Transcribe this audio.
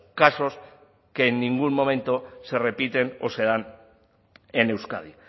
casos que en ningún momento se repite o se dan en euskadi